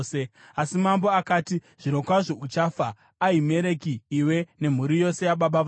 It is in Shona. Asi mambo akati, “Zvirokwazvo uchafa, Ahimereki, iwe nemhuri yose yababa vako.”